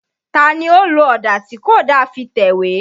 Ta ni ó lo ọ̀dà tí kò da fi tẹ̀wé?